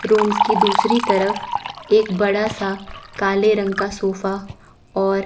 rooms की दूसरी तरफ एक बड़ासा काले रंग का सोफा और--